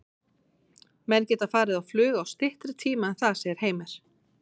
Menn geta farið á flug á styttri tíma en það, segir Heimir.